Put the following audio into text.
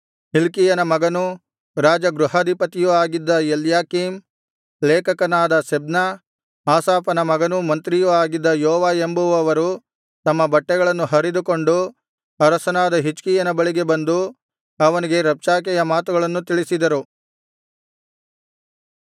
ಹಿಲ್ಕೀಯನ ಮಗನೂ ರಾಜಗೃಹಾಧಿಪತಿಯೂ ಆಗಿದ್ದ ಎಲ್ಯಾಕೀಮ್ ಲೇಖಕನಾದ ಶೆಬ್ನ ಆಸಾಫನ ಮಗನೂ ಮಂತ್ರಿಯೂ ಆಗಿದ್ದ ಯೋವ ಎಂಬುವವರು ತಮ್ಮ ಬಟ್ಟೆಗಳನ್ನು ಹರಿದುಕೊಂಡು ಅರಸನಾದ ಹಿಜ್ಕೀಯನ ಬಳಿಗೆ ಬಂದು ಅವನಿಗೆ ರಬ್ಷಾಕೆಯ ಮಾತುಗಳನ್ನು ತಿಳಿಸಿದರು